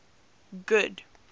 good